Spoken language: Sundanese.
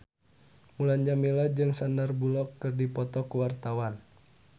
Mulan Jameela jeung Sandar Bullock keur dipoto ku wartawan